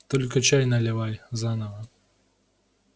только чай наливай заново